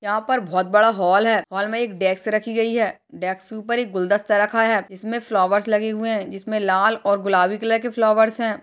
यहां पर बहोत बड़ा हाल है हाल में एक डेक्स रखी गई है डेक्स के ऊपर एक गुलदस्ता रखा हुआ है जिसमें फ्लावर्स लगे हुए है जिसमें लाल और गुलाबी कलर के फ्लावर्स है।